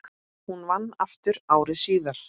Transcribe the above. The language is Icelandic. Hún vann aftur ári síðar.